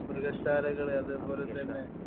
മൃഗശാലകള് അതുപോലെ തന്നെ